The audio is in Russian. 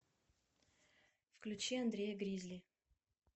включи андрея гризли